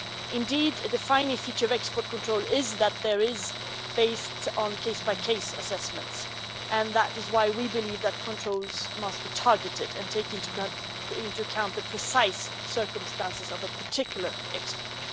Indeed, a defining feature of export control is it is based on case by case assessments, and that is why we believe that controls must be targeted and take into account the precise circumstances of a particular export.